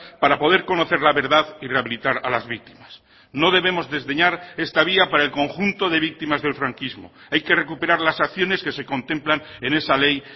para poder conocer la verdad y rehabilitar a las víctimas no debemos desdeñar esta vía para el conjunto de víctimas del franquismo hay que recuperar las acciones que se contemplan en esa ley